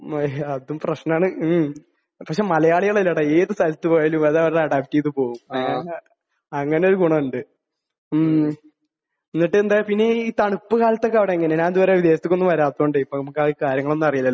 മ്മ്. അതും പ്രശ്നമാണ്. മ്മ്. പക്ഷെ മലയാളികൾ ഇല്ലെടാ ഏത് സ്ഥലത്ത് പോയാലും അത് അവർ അഡാപ്റ്റ് ചെയ്ത് പോകും. അങ്ങ അങ്ങനെയൊരു ഗുണമുണ്ട്. മ്മ്. എന്നിട്ട് എന്തായി? പിന്നെ ഈ തണുപ്പ് കാലത്തൊക്കെ അവിടെ എങ്ങനെയാണ്? ഞാൻ ഇത് വരെ വിദേശത്തേക്കൊന്നും വരാത്തത് കൊണ്ടേ ഇപ്പോൾ നമുക്ക് ആ കാര്യങ്ങളൊന്നും അറിയില്ലാലോ.